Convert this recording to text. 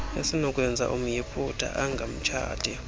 esinokwenza umyiputa angamtshati